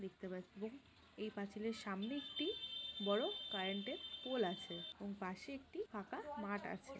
দেখতে পাচ্ছেন এবং এই পাঁচিলের সামনে একটি বড় কারেন্টের পোল আছে এবং পাশে একটি ফাঁকা মাঠ আছে।